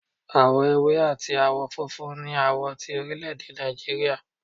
Awọ èwé atí awọ fúnfún ní awọ ti orilede nijíríría